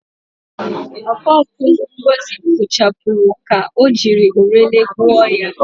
Oko oku Ngozi kpochapụrụ ka o jiri orele gwuoo ya.